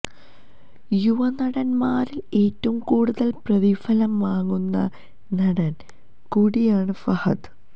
യുവനടന്മാരില് ഏറ്റവും കൂടുതല് പ്രതിഫലം വാങ്ങുന്ന നടന് കൂടിയാണ് ഫഹദ്